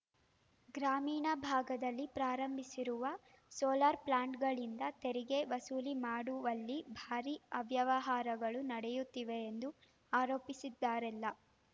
ಗ್ರಾಮೀಣ ಭಾಗದಲ್ಲಿ ಪ್ರಾರಂಭಿಸಿರುವ ಸೋಲಾರ್‌ ಪ್ಲಾಂಟ್‌ಗಳಿಂದ ತೆರಿಗೆ ವಸೂಲಿ ಮಾಡುವಲ್ಲಿ ಭಾರಿ ಅವ್ಯವಹಾರಗಳು ನಡೆಯುತ್ತಿವೆ ಎಂದು ಆರೋಪಿಸಿದ್ದರಲ್ಲ